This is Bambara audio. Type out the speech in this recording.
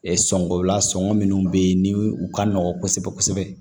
Sɔngɔ la sɔngɔ minnu bɛ yen ni u ka nɔgɔn kosɛbɛ kosɛbɛ